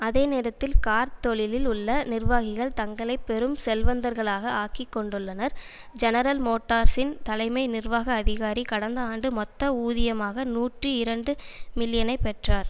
அதே நேரத்தில் கார்த் தொழிலில் உள்ள நிர்வாகிகள் தங்களை பெரும் செல்வந்தர்களாக ஆக்கிக் கொண்டுள்ளனர் ஜெனரல் மோட்டார்சின் தலைமை நிர்வாக அதிகாரி கடந்த ஆண்டு மொத்த ஊதியமாக நூற்றி இரண்டு மில்லியனை பெற்றார்